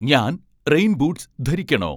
ഞാൻ rain boots ധരിക്കണോ